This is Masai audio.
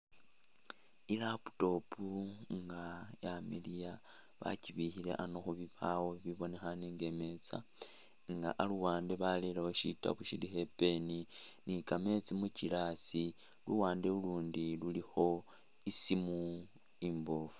I'laptop nga yamiliya bakibikhole a'ano khubibawo bibonekhane nga imeza nga aluwande balerewo shitaabu shilikho ipen ni kameetsi mu glass luwande lulundi lulikho isimu imboofu